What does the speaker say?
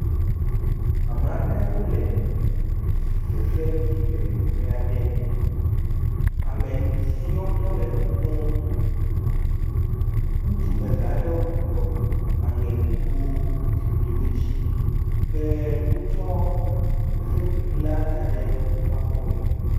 Ame aɖe wole fefe ɖi le teƒa ɖe. ame siwo tɔe le ƒu ƒom. Ŋutsu eve aɖewo gblugblɔ aŋe kpokpoe zikpuiwo dzi. Wotsɔ fefeɖiŋu la da ɖe woƒe akɔ me.